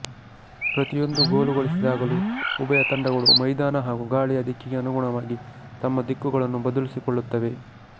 ಪ್ರತಿಯೊಂದು ಗೋಲು ಗಳಿಸಿದಾಗಲೂ ಉಭಯ ತಂಡಗಳು ಮೈದಾನ ಹಾಗೂ ಗಾಳಿಯ ದಿಕ್ಕಿಗೆ ಅನುಗುಣವಾಗಿ ತಮ್ಮ ದಿಕ್ಕುಗಳನ್ನು ಬದಲಿಸಿಕೊಳ್ಳುತ್ತವೆ